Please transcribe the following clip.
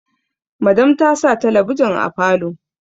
Madam ta sa talabijin a falo